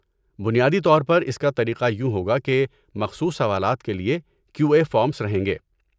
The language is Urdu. بنیادی طور پر اس کا طریقہ یوں ہوگا کہ مخصوص سوالات کے لیے کیو اے فارمس رہیں گے۔